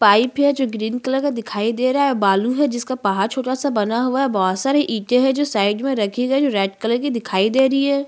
Pipe है जो green colour का दिखाई दे रहा है और बालू है जिसका पहाड़ छोटा सा बना हुआ है और बहोत सारे एथे है जो साइड मै रखे गए है जो रेड कलर की दिखाई दे रही है।